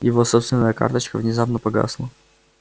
его собственная карточка внезапно погасла